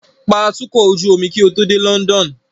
Pa atukọ̀ ojú omi kí o tó dé London